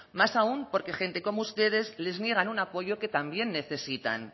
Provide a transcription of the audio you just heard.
más aún porque gente como ustedes les niegan un apoyo que también necesitan